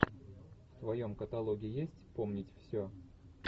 в твоем каталоге есть помнить все